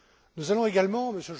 Nous allons également